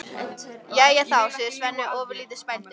Jæja þá, segir Svenni ofurlítið spældur.